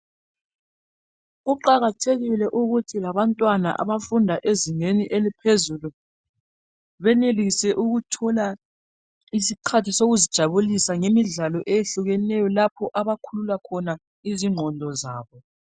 Kuqakathekile ukuthi labantwana abafunda ezingeni eliphezulu benelesi ukuthola isikhathi sokuzijabulisa ngemidlalo ehlukeneyo lapho abakhulula khona izingqondo zabo